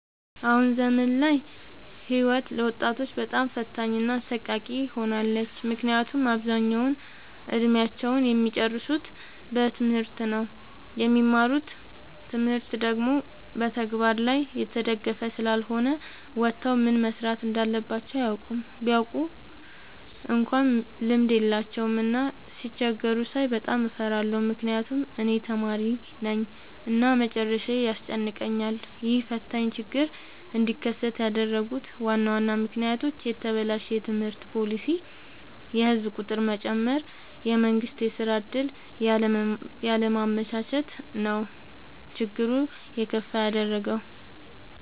አሁን ዘመን ላይ ህይወት ለወጣቶች በጣም ፈታኝ እና አሰቃቂ ሆናለች። ምክንያቱም አብዛኛውን እድሜአቸውን እሚጨርሱት በትምህርት ነው። የሚማሩት ትምህርት ደግሞ በተግበር ላይ የተደገፈ ስላልሆነ ወተው ምን መስራት እንዳለባቸው አያውቁም። ቢያውቁ እንኳን ልምድ የላቸውም። እና ሲቸገሩ ሳይ በጣም እፈራለሁ ምክንያቱም እኔም ተማሪነኝ እና መጨረሻዬ ያስጨንቀኛል። ይህ ፈታኝ ችግር እንዲከሰት ያደረጉት ዋና ዋና ምክንያቶች፦ የተበላሸ የትምህርት ፓሊሲ፣ የህዝብ ቁጥር መጨመር፣ የመንግስት የስራ ዕድል ያለማመቻቸት ነው። ችግሩን የከፋ ያደረገው።